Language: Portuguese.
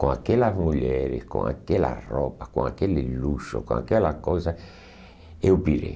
Com aquelas mulheres, com aquelas roupas, com aquele luxo, com aquela coisa, eu pirei.